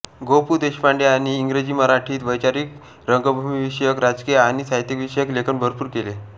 गो पु देशपांडे यांनी इंग्रजीमराठीत वैचारिक रंगभूमीविषयक राजकीय आणि साहित्यविषयक लेखन भरपूर केले